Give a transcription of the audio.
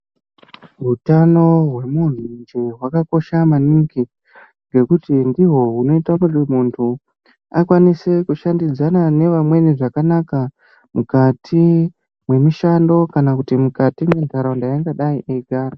Hutano hwemuntu hwakakosha maningi ngekuti ndihwo hunoita kuti muntu akwanise kushandidzana neantu zvakanaka mukati mwemishando kana mukati mwentaraunda yaangadai eigara.